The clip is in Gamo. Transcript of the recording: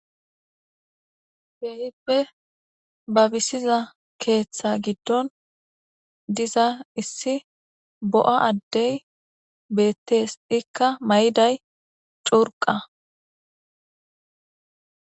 Keehippe babisiza keeththa gidon Haysa misileza bolla gitta demban dumma dumma quma qomoti zeretiddi diccishshe detese. Lemisos bangay gistey dumma dumms miththatikka diccish beteese.